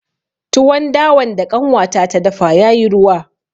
Tuwon dawan da ƙanwata ta dafa ya yi ruwa